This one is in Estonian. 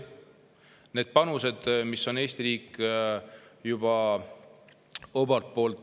Need panused, mis on Eesti riik juba andnud, on väga suured.